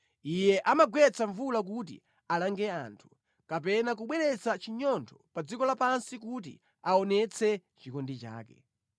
Iye amagwetsa mvula kuti alange anthu, kapena kubweretsa chinyontho pa dziko lapansi kuti aonetse chikondi chake.